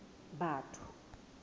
batho